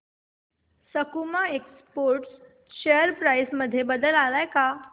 सकुमा exports share price मध्ये बदल आलाय का